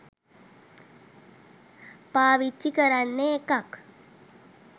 පවිච්චි කරන්නෙ එකක්.